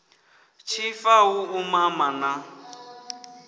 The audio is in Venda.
tshifa hu u mama na